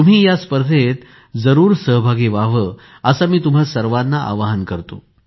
तुम्ही या स्पर्धेत जरूर सहभागी व्हावे असे आवाहन मी तुम्हा सर्वांना करतो